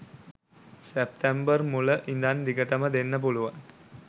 සැප්තැම්බර් මුල ඉඳන් දිගටම දෙන්න පුලුවන්.